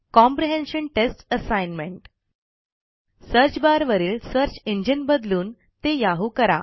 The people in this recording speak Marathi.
comprehension test assignment search bar वरील सर्च इंजिन बदलून ते याहू करा